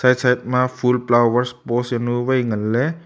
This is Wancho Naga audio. side ma ful powers pos zaunu vai nganley.